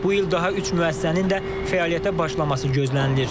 Bu il daha üç müəssisənin də fəaliyyətə başlaması gözlənilir.